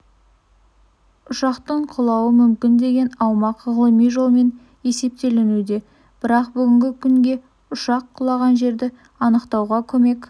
ұшақтың құлауы мүмкін деген аумақ ғылыми жолмен есептелінуде бірақ бүгінгі күнге ұшақ құлаған жерді анықтауға көмек